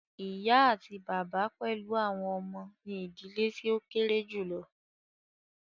Ìyá àti bàbá pẹlú àwọn ọmọ ní ìdílé tí o kéré julọ.